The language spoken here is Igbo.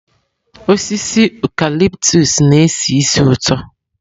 Osisi ụcalịptụs na-esi ísì ụtọ.